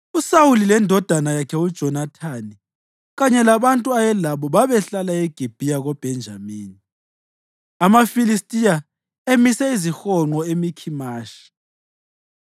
USawuli lendodana yakhe uJonathani kanye labantu ayelabo babehlala eGibhiya koBhenjamini, amaFilistiya emise izihonqo eMikhimashi.